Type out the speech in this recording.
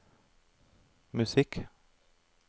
musikk